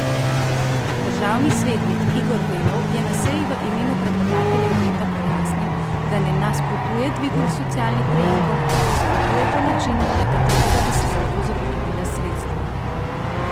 Državni svetnik Igor Velov je na seji v imenu predlagateljev veta pojasnil, da ne nasprotuje dvigu socialnih prejemkov, nasprotuje pa načinu, na katerega bi se za to zagotovila sredstva.